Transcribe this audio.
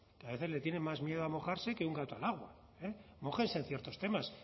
que a veces le tienen más miedo a mojarse que un gato al agua mójense en ciertos temas